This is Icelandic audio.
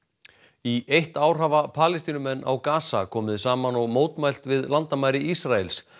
í eitt ár hafa Palestínumenn á komið saman og mótmælt við landamæri Ísraels